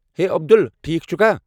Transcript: ہے، عبدل، ٹھیٖک چھٗکھا؟